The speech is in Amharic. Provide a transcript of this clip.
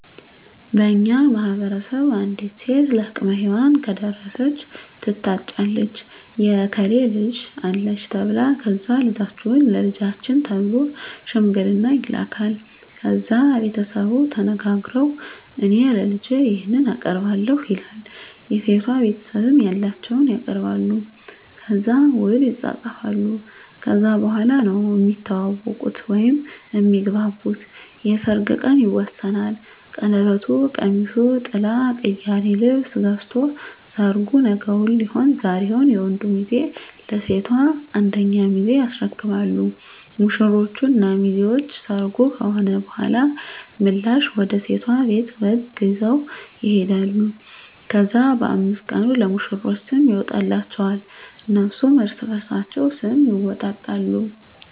በእኛ ማህበረሰብ አንዲት ሴት ለአቅመ ሄዋን ከደረሰች ትታጫለች የእከሌ ልጅ አለች ተብላ ከዛ ልጃችሁን ለልጃችን ተብሎ ሽምግልና ይላካል። ከዛ ቤተሰቡ ተነጋግረዉ እኔ ለልጄ ይሄን አቀርባለሁ ይላል የሴቷ ቤተሰብም ያላቸዉን ያቀርባሉ። ከዛ ዉል ይፃፃፋሉ ከዛ በኋላ ነዉ እሚተዋወቁት (እሚግባቡት) የሰርጉ ቀን ይወሰናል ቀለበቱ፣ ቀሚሱ፣ ጥላ፣ ቅያሪ ልብስ ገዝቶ ሰርጉ ነገዉን ሊሆን ዛሬዉን የወንዱ ሚዜ ለሴቷ አንደኛ ሚዜ ያስረክባሉ። ሙሽሮች እና ሚዜዎች ሰርጉ ከሆነ በኋላ ምላሽ ወደ ሴቷ ቤት በግ ይዘዉ ይሄዳሉ። ከዛ በ5 ቀኑ ለሙሽሮች ስም ይወጣላቸዋል እነሱም እርስበርሳቸዉ ስም ይወጣጣሉ።